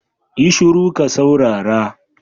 Yi shuru ka saurara